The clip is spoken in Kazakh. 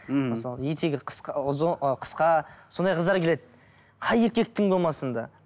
мхм мысалы етегі қысқа сондай қыздар келеді қай еркектің болмасын да